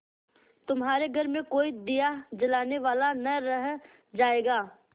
तुम्हारे घर में कोई दिया जलाने वाला न रह जायगा